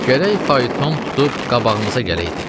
Gərək fayton tutub qabağımıza gələydi.